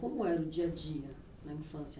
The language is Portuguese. Como era o dia a dia na infância